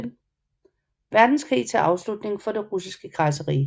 Verdenskrig til afslutning for det Russiske Kejserrige